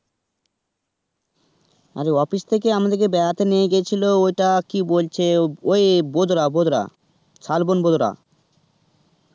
আমাদের office থেকে আমাদের কে বেড়াতে নিয়ে গেছিলো ওটা কি বলছে ওই বদরা বদরা, শালবন বদরা.